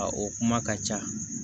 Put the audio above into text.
A o kuma ka ca